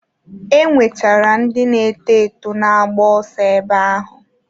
E nwechara ndị na-eto eto na-agba ọso ebe ahụ.